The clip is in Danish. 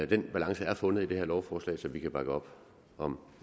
den balance er fundet i det her lovforslag så vi kan bakke op om